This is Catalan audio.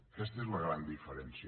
aquesta és la gran diferència